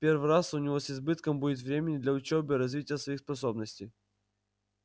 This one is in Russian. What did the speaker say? в первый раз у него с избытком будет времени для учёбы и развития своих способностей